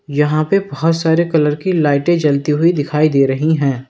यहां पे बहुत सारे कलर की लाइटें जलती हुई दिखाई दे रही हैं।